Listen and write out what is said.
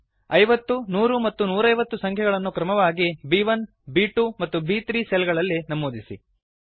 50100 ಮತ್ತು 150 ಸಂಖ್ಯೆಗಳನ್ನು ಕ್ರಮವಾಗಿ ಬ್1 ಬ್2 ಮತ್ತು ಬ್3 ಸೆಲ್ ಗಳಲ್ಲಿ ನಮೂದಿಸಿ